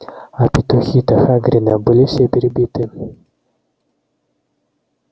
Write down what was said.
а петухи-то хагрида были все перебиты